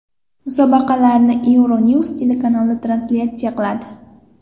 Musobaqalarni Euronews telekanali translyatsiya qiladi.